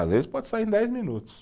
Às vezes pode sair em dez minutos.